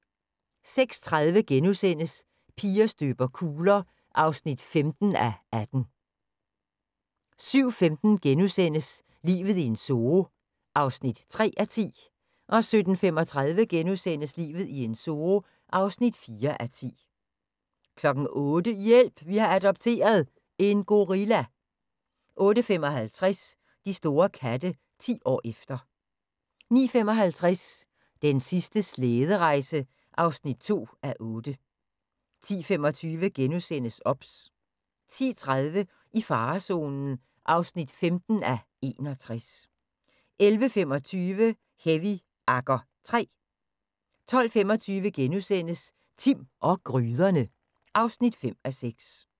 06:30: Piger støber kugler (15:18)* 07:15: Livet i en zoo (3:10)* 07:35: Livet i en zoo (4:10)* 08:00: Hjælp! Vi har adopteret – en gorilla 08:55: De store katte – 10 år efter 09:55: Den sidste slæderejse (2:8) 10:25: OBS * 10:30: I farezonen (15:61) 11:25: Heavy Agger III 12:25: Timm og gryderne (5:6)*